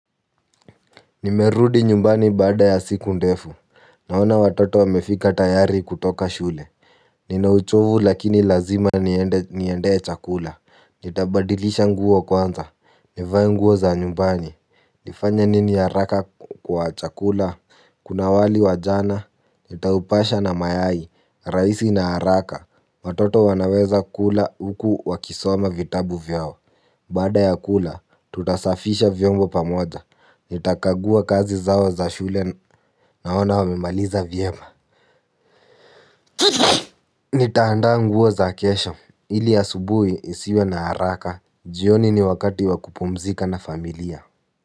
Nimerudi nyumbani baada ya siku ndefu. Naona watoto wamefika tayari kutoka shule. Nina uchovu lakini lazima niendee chakula. Nitabadilisha nguo kwanza. Nivae nguo za nyumbani. Nifanye nini haraka kwa chakula. Kuna wali wa jana. Nitaupasha na mayai. Rahisi na haraka. Watoto wanaweza kula huku wakisoma vitabu vyao. Baada ya kula tutasafisha vyombo pamoja. Nitakagua kazi zao za shule naona wamemaliza vyema. Nitaandaa nguo za kesho ili asubuhi isiwe na haraka. Jioni ni wakati wa kupumzika na familia.